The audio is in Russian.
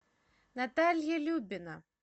наталья любина